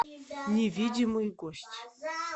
невидимый гость